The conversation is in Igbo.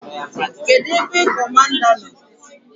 Kedụ ebe Kọmanda nọ?